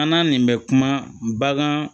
An n'a nin bɛ kuma bagan